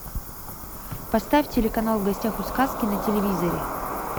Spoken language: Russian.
поставь телеканал в гостях у сказки на телевизоре